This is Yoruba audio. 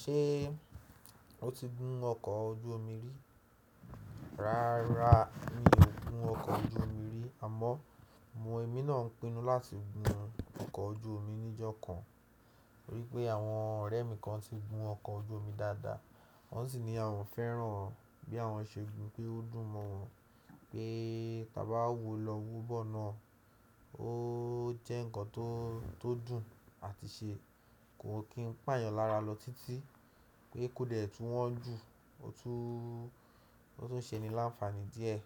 Ṣé o ti gun ọkọ̀ ojú omi rí? Rárá mi ò gun ọkọ̀ ojú omi rí àmọ́. Mo èmi náà ń pinnu láti gun ọkọ̀ ojú omi níjọ́ kan nítorí pé àwọn ọ̀rẹ́ mi kan ti gun ọkọ̀ ojú omi dáadáa. Wọ́n sì ni àwọn fẹ́ràn bí àwọn ṣe gun pé ó dùn mọ́ wọ́n Pé báa bawo lọ wóbọ̀ náà ó jẹ́ ǹkan tó dùn àti ṣe kò kí n pààyàn lára lọ títí pé kò dẹ̀ tún wọ́n jù, o tun o tun ṣe ni láǹfààní díẹ̀